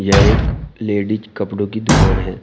यह एक लेडीज कपड़ों की दुकान है।